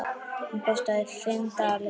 Hún kostaði fimm dali.